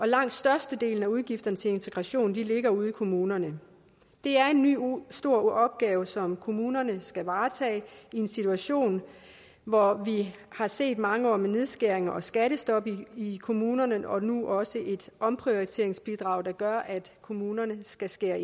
langt størstedelen af udgifterne til integration ligger ude i kommunerne det er en ny stor opgave som kommunerne skal varetage i en situation hvor vi har set mange år med nedskæringer og skattestop i kommunerne og nu også et omprioriteringsbidrag der gør at kommunerne skal skære